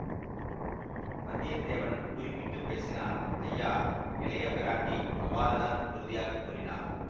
வந்தியத்தேவன் குறுக்கிட்டு பேசினான் ஐயா இளைய பிராட்டி அவ்வாறுதான் உறுதியாக கூறினார்